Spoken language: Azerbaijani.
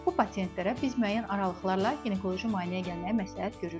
Bu pasientlərə biz müəyyən aralıqlarla ginekoloji müayinəyə gəlməyi məsləhət görürük.